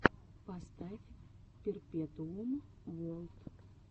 поставь перпетуум уорлд